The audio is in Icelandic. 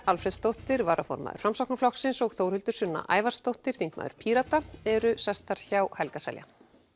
Alfreðsdóttir varaformaður Framsóknarflokksins og Þórhildur Sunna Ævarsdóttir þingmaður Pírata eru hjá Helga Seljan